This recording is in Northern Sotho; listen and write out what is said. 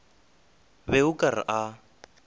be o ka re a